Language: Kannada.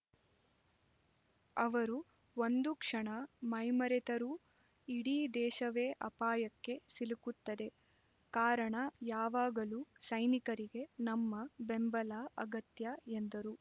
ಅವರು ಒಂದು ಕ್ಷಣ ಮೈಮರೆತರೂ ಇಡೀ ದೇಶವೇ ಅಪಾಯಕ್ಕೆ ಸಿಲುಕುತ್ತದೆ ಕಾರಣ ಯಾವಾಗಲೂ ಸೈನಿಕರಿಗೆ ನಮ್ಮ ಬೆಂಬಲ ಅಗತ್ಯ ಎಂದರು